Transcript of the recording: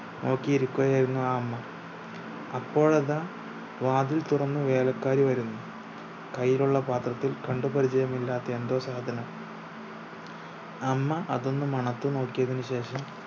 നോക്കി ഇരിക്കുകയായിരുന്നു ആ 'അമ്മ അപ്പോൾ അതാ വാതിൽ തുറന്ന് വേലക്കാരി വരുന്നു കയ്യിൽ ഉള്ള പാത്രത്തിൽ കണ്ട് പരിചയമില്ലാത്ത എന്തോ സാധനം 'അമ്മ അതൊന്ന് മണത്ത് നോക്കിയതിനു ശേഷം